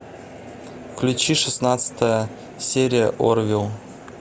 включи шестнадцатая серия орвилл